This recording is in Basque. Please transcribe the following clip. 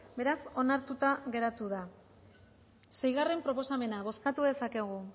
beraz onartuta geratu da seigarrena proposamena bozkatu dezakegu